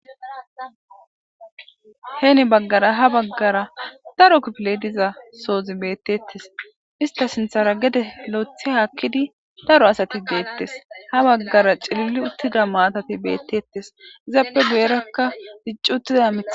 Heeni baggara ha baggara daro kipile diza soozi bettettes ista sinthara gede loethe haakkidi daro asati geettes ha baggara cilili uttida maatati beettettes izappe guyerakka diccu uttida amies